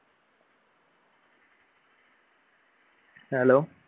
hello